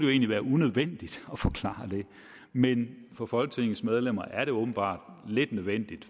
egentlig være unødvendigt at forklare det men for folketingets medlemmer er det åbenbart lidt nødvendigt